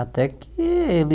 Até que ele